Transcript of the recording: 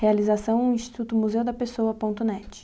Realização, Instituto Museu da Pessoa.net.